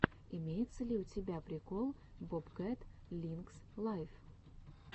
имеется ли у тебя прикол бобкэт линкс лайв